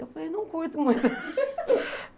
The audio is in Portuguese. Eu falei, não curto muito.